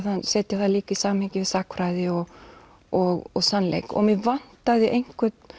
setja það líka í samhengi við sagnfræði og og sannleik og mig vantaði einhvern